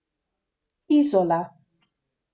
Izola.